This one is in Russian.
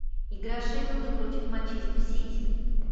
игра шеффилда против манчестер сити